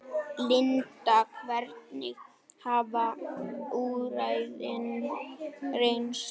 Linda, hvernig hafa úrræðin reynst?